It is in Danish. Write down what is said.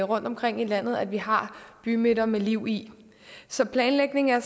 rundtomkring i landet at vi har bymidter med liv i så planlægning er